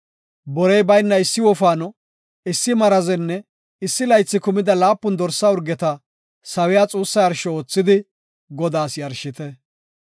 Borey bayna issi wofaano, issi marazenne issi laythi kumida laapun dorsa urgeta sawiya xuussa yarsho oothidi Godaas yarshite.